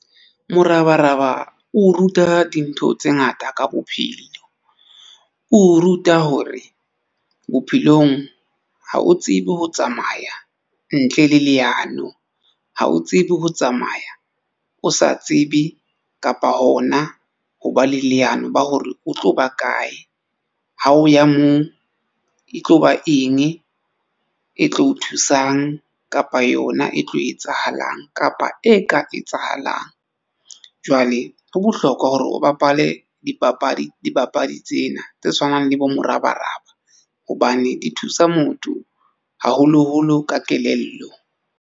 Morabaraba o ruta dintho tse ngata ka bophelo, o ruta hore bophelong ha o tsebe ho tsamaya ntle le leano, ha o tsebe ho tsamaya o sa tsebe kapa hona ho ba le leano la hore o tlo ba kae ha o ya moo, e tlo ba eng e tlo o thusang kapa yona e tlo etsahalang kapa e ka etsahalang. Jwale ho bohlokwa hore o bapale dipapadi tsena tse tshwanang le bo morabaraba hobane di thusa motho haholoholo ka kelello.